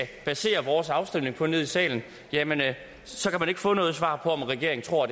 basere vores afstemning på nede i salen så kan man ikke få noget svar på om regeringen tror